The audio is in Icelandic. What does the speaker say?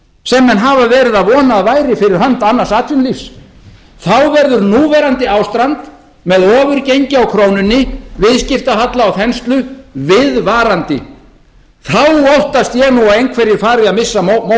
sem menn hafa verið að vona að væri fyrir hönd annars atvinnulífs þá verður núverandi ástand með ofurgengi á krónunni viðskiptahalla og þenslu viðvarandi þá óttast ég að einhverjir fari að missa